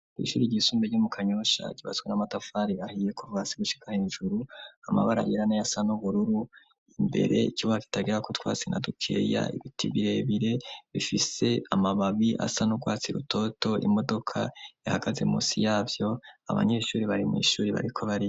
Ishuri ryisumbuye ryo mu kanyosha kibatswe n'amatafari ahiye kuvasi gushika hejuru amabara yirana yasa n'ubururu imbere cyubafit agira ko twasina dukeya ibiti birebire bifise amababi asa n'ugwatsi rutoto imodoka yahagaze munsi yabyo abanyeshuri bari mu ishuri bariko bari.